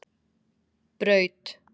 Braut